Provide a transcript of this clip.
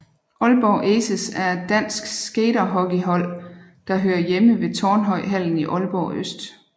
Aalborg Aces er et dansk skaterhockeyhold der hører hjemme ved Tornhøjhallen i Aalborg Øst